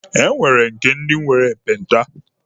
E nwere nke ndi nwere ekpenta.